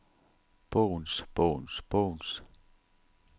bogens bogens bogens